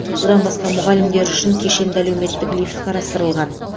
бұдан басқа мұғалімдер үшін кешенді әлеуметтік лифт қарастырылған